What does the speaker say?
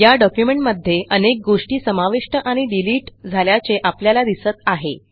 या डॉक्युमेंटमध्ये अनेक गोष्टी समाविष्ट आणि डिलिट झाल्याचे आपल्याला दिसत आहे